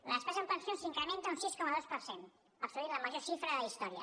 la despesa en pensions s’incrementa un sis coma dos per cent assolint la major xifra de la història